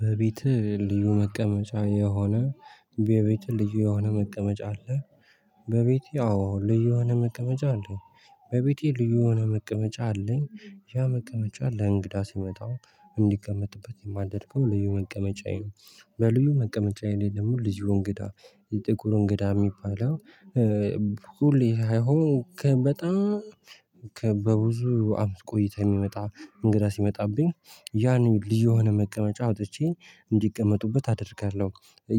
በቤት ልዩ መቀመጫ የሆነ በቤት ልዩ የሆነ መቀመጫ አለ። በቤቴ አዎ ልዩ የሆነ መቀመጫ አለኝ። በቤቴ ልዩ የሆነ መቀመጫ አለኝ ያ መቀመጫ ለእንግዳ ሲመጣ እንዲቀመጥበት የማደርገው ልዩ መቀመጫዬ ነው። በልዩ መቀመጫ ላይ ደግሞ ልዩ እንግዳ የጥቁር እንግዳ የሚባለው። ሁሌ አይሆን ከበጣም ከበብዙ አመት ቆይታ የሚመጣ እንግዳ ሲመጣብኝ ያኔ ልዩ የሆነ መቀመጫ አውጥቼ እንዲቀመጡበት አደርጋለሁ።